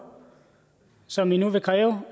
som i nu vil kræve